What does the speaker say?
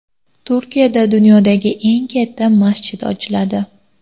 Turkiyada dunyodagi eng katta masjid ochiladi.